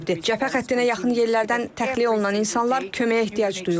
Cəbhə xəttinə yaxın yerlərdən təxliyə olunan insanlar köməyə ehtiyac duyurlar.